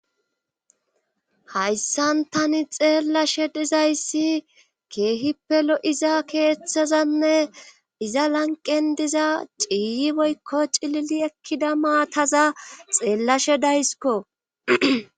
hayssan tani xeellashe dizayssi keehippelo7iza keeththazanne iza lanqen diza ciiyi boykko cilili ekkida maataza xeellashe daysiko